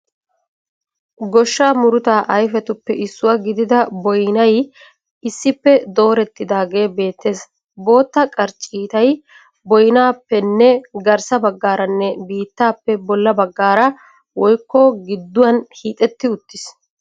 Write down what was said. Goshshaa murutaa ayifetuppe issuwa gidida boyinay issippe doorettidaagee beettees. Bootta qarcciitay boyinaappenne garissa baggaaranne biittaappe bolla baggaara (gidduwan) hiixetti uttiis.